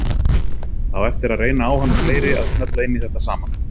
Það á eftir að reyna á hann og fleiri að smella inn í þetta saman.